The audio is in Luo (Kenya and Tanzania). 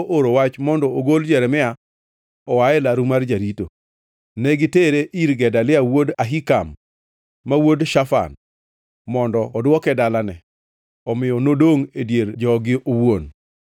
nooro wach mondo ogol Jeremia oa e laru mar jarito. Ne gitere ir Gedalia wuod Ahikam, ma wuod Shafan, mondo odwoke dalane. Omiyo nodongʼ e dier jogi owuon.